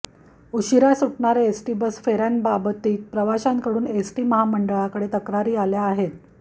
उशिरा सुटणाऱ्या ST bus फेऱ्यांबाबतीत प्रवाशांकडून एसटी महामंडळाकडे तक्रारी आल्या आहेत